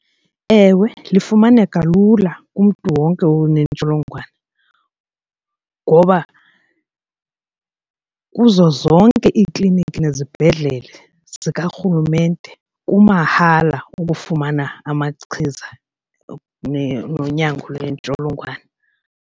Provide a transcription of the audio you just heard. Ewe, lifumaneka lula kumntu wonke onentsholongwane ngoba kuzo zonke iikliniki nezibhedlele zikarhulumente kumahala ukufumana amachiza nonyango lwentsholongwane.